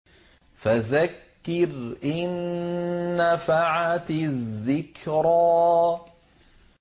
فَذَكِّرْ إِن نَّفَعَتِ الذِّكْرَىٰ